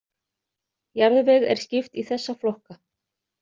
Jarðveg er skipt í þessa flokka.